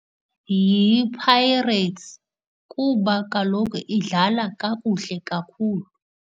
YiPirates kuba kaloku idlala kakuhle kakhulu.